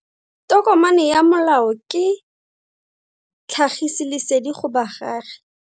Tokomane ya molao ke tlhagisi lesedi go baagi.